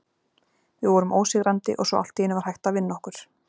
Við vorum ósigrandi og svo allt í einu var hægt að vinna okkur.